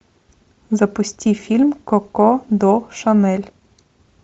запусти фильм коко до шанель